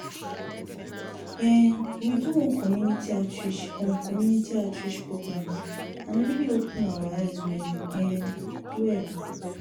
um we do one community outreach on community outreach programs and e really open our eye well um well.